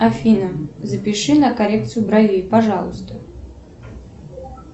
афина запиши на коррекцию бровей пожалуйста